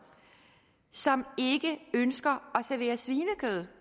som ikke ønsker at servere svinekød